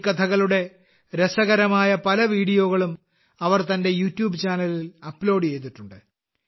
ഈ കഥകളുടെ രസകരമായ ചില വീഡിയോകളും അവർ തന്റെ യൂട്യൂബ് ചാനലിൽ അപ്ലോഡ് ചെയ്തിട്ടുണ്ട്